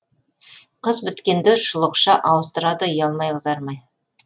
қыз біткенді шұлықша ауыстырады ұялмай қызармай